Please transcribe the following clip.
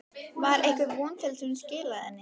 Var einhver von til þess að hún skilaði henni?